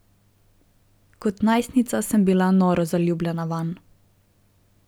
Kot najstnica sem bila noro zaljubljena vanj.